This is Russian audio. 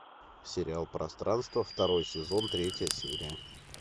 сериал пространство второй сезон третья серия